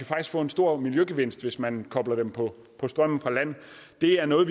faktisk få en stor miljøgevinst hvis man kobler dem på strømmen fra land det er noget